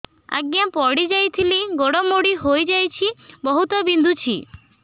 ଆଜ୍ଞା ପଡିଯାଇଥିଲି ଗୋଡ଼ ମୋଡ଼ି ହାଇଯାଇଛି ବହୁତ ବିନ୍ଧୁଛି